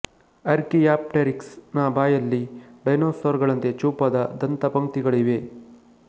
Archaeopteryx ನ ಬಾಯಲ್ಲಿ dinosaur ಗಳಂತೆ ಚೂಪಾದ ದಂತ ಪಂಕ್ತಿಗಳಿವೆ